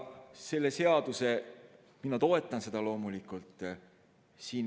Seda seadust mina loomulikult toetan.